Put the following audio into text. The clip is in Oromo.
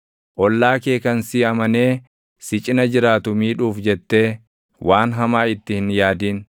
Ollaa kee kan si amanee si cina jiraatu miidhuuf jettee waan hamaa itti hin yaadin.